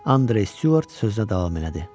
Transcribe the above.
Andrew Stuart sözünə davam elədi.